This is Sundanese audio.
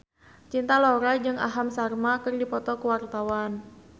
Cinta Laura jeung Aham Sharma keur dipoto ku wartawan